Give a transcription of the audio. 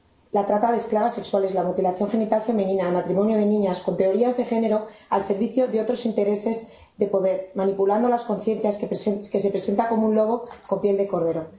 —la trata de esclavas sexuales, la mutilación genital femenina, el matrimonio de niñas—, con teorías de género al servicio de otros intereses de poder, manipulando las conciencias, y se presenta como un lobo con piel de cordero.